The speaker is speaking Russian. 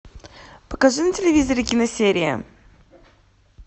покажи на телевизоре киносерии